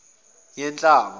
yakanhlaba